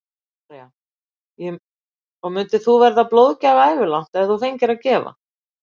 Helga María: Og myndir þú vera blóðgjafi ævilangt ef þú fengir að gefa?